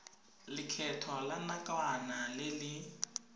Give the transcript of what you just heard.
lekgetho la nakwana le le